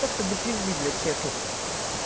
как-то до пизды блять честно